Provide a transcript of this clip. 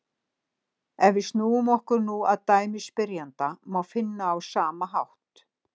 Ef við snúum okkur nú að dæmi spyrjanda má finna á sama hátt: